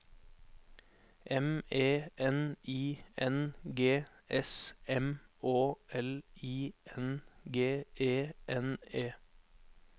M E N I N G S M Å L I N G E N E